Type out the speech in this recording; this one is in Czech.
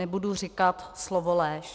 Nebudu říkat slovo lež.